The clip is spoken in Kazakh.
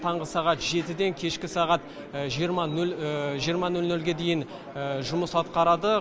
таңғы сағат жетіден кешкі сағат жиырма нөл нөлге дейін жұмыс атқарады